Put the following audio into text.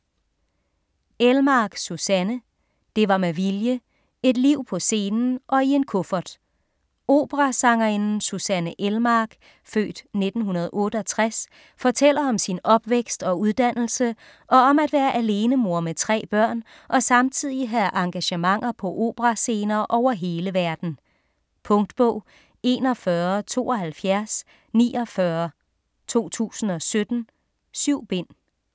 Elmark, Susanne: Det var med vilje: et liv på scenen og i en kuffert Operasangerinden Susanne Elmark (f. 1968) fortæller om sin opvækst og uddannelse, og om at være alenemor med tre børn og samtidig have engagementer på operascener over hele verden. Punktbog 417249 2017. 7 bind.